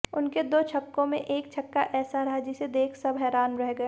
उनके दो छक्कों में एक छक्का ऐसा रहा जिसे देख सब हैरान रह गए